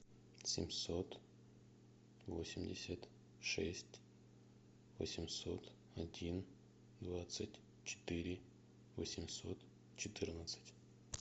семьсот восемьдесят шесть восемьсот один двадцать четыре восемьсот четырнадцать